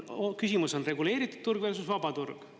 Küsimus on: reguleeritud turg versus vaba turg.